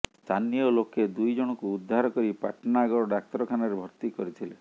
ସ୍ଥାନୀୟ ଲୋକେ ଦୁଇ ଜଣଙ୍କୁ ଉଦ୍ଧାର କରି ପାଟଣାଗଡ଼ ଡାକ୍ତରଖାନାରେ ଭର୍ତ୍ତି କରିଥିଲେ